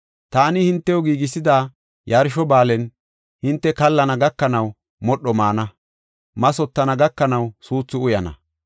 Taani hintew giigisida yarsho ba7aalen hinte kallana gakanaw, modho maana; mathotana gakanaw, suuthu uyana.